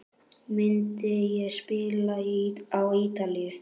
Myndi ég spila á Ítalíu?